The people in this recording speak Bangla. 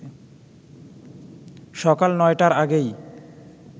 সকাল ৯টার আগেই